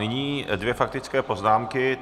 Nyní dvě faktické poznámky.